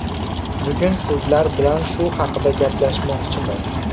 Bugun sizlar bilan shu haqida gaplashmoqchimiz.